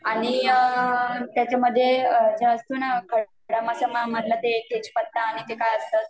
आणि त्याच्यामध्ये जो असतो ना खडा मसाला मधलं ते तेजपत्ता आणि ते काय असतं